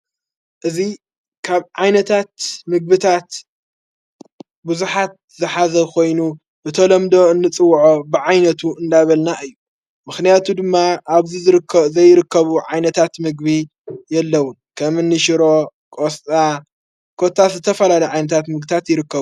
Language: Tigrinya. እዚ ካብ ዓይነታት ምግብታት ብዙኃት ዝሓዘ ኾይኑ ብተሎምዶ እንጽውዖ ብዓይነቱ እንዳበልና እዩ ምኽንያቱ ድማ ኣብዘ ዘይርከቡ ዓይነታት ምግቢ የለዉን ከምኒሽሮ ቖስጣ ኰታ ዘተፈላሉ ዓይነታት ምግብታት ይርከብ::